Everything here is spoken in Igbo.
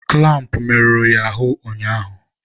kụlampụ merụrụ ya ahụ ụnyaahụ.